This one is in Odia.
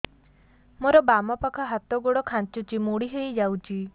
ମୋର ବାମ ପାଖ ହାତ ଗୋଡ ଖାଁଚୁଛି ମୁଡି ହେଇ ଯାଉଛି